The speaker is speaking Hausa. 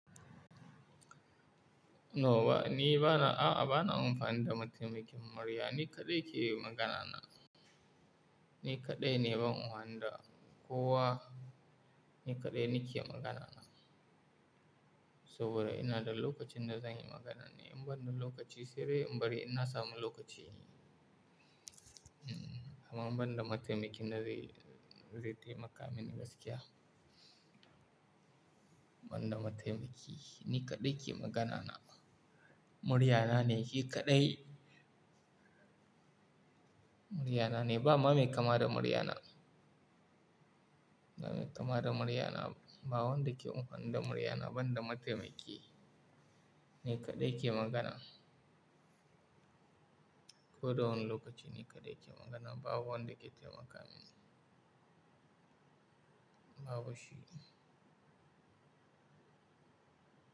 Nawa, ni bana, a, a, bana amfani da mataimakin murya, ni kaɗai ke Magana na Ni kaɗai ne ba ruwa da kowa, ni kaɗai nake magana. Saboda ina da lokacin da zan yi magana ne, in ban da lokaci sai dai in bari inna samu lokaci inyi. Amma ban da mataimakin da zai, zai taimaka mini gaskiya. Ban da mataimaki, ni kaɗai ke magana. Muryana ne, shi kaɗai. Muryana ne, ba mamai kama da muryana. Mamai kama da muryana, ba wanda ke amfani da muryana ban da mataimaki. Ni kaɗai ke magana. Ko da wani lokaci ni kaɗai ke magana, ba wanda ke taimaka mini. Babu shi.